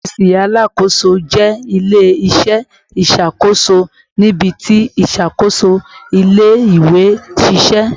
Ọfiisi Alakoso jẹ ile-iṣẹ iṣakoso nibiti iṣakoso ile-iwe n ṣiṣẹ